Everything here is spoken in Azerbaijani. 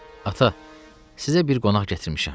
Ata, sizə bir qonaq gətirmişəm.